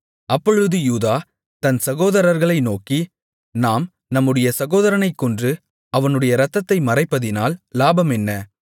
அப்பொழுது யூதா தன் சகோதரர்களை நோக்கி நாம் நம்முடைய சகோதரனைக் கொன்று அவனுடைய இரத்தத்தை மறைப்பதினால் லாபம் என்ன